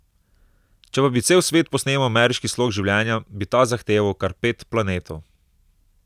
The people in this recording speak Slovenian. Če pa bi cel svet posnemal ameriški slog življenja, bi ta zahteval kar pet planetov.